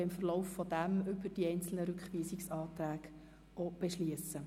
Im Verlauf dieser Diskussion werden wir über die einzelnen Rückweisungsanträge beschliessen.